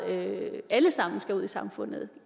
alle sammen skal ud i samfundet